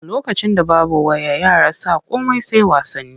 A lokacin da babu waya yara sa komai sai wasanni.